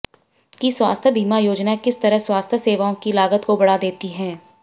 कि स्वास्थ्य बीमा योजनाएं किस तरह स्वास्थ्य सेवाओं की लागत को बढ़ा देती हैं